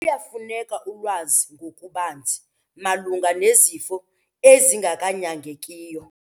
Luyafuneka ulwazi ngokubanzi malunga nezifo ezinganyangekiyo.